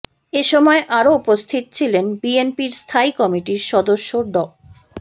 এসময় আরও উপস্থিত ছিলেন বিএনপির স্থায়ী কমিটির সদস্য ড